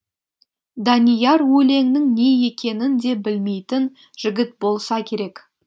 данияр өлеңнің не екенін де білмейтін жігіт болса керек